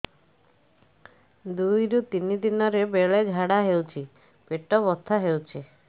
ଦୁଇରୁ ତିନି ଦିନରେ ବେଳେ ଝାଡ଼ା ହେଉଛି ପେଟ ବଥା ହେଉଛି